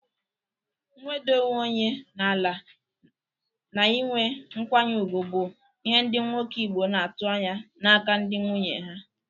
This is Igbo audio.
Nweda onwe onye na-ala na ị nwe nkwanye ugwu bụ ihe ndị nwoke Igbo na-atụ anya n'aka ndị nwunye ha.